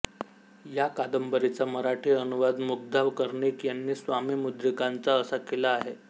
या कादंबरीचा मराठी अनुवाद मुग्धा कर्णिक यांनी स्वामी मुद्रिकांचा असा केला आहे